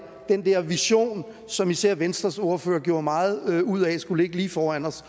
den der vision som især venstres ordfører gjorde meget ud af skulle ligge lige foran os